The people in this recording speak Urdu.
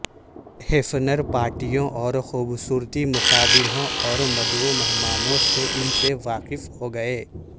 ہیفینر پارٹیوں اور خوبصورتی مقابلہوں اور مدعو مہمانوں سے ان سے واقف ہوگئے